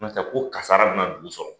Ko n'a tɛ ko kasara bɛna dugu sɔrɔ.